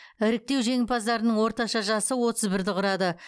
іріктеу жеңімпаздарының орташа жасы отыз бірді құрады